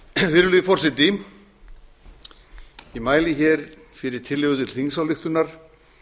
xxxvirðulegi forseti ég mæli hér fyrir tillögu til þingsályktunar